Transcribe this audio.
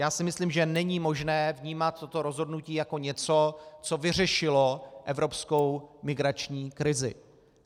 Já si myslím, že není možné vnímat toto rozhodnutí jako něco, co vyřešilo evropskou migrační krizi.